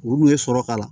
U kun ye sɔrɔ k'a la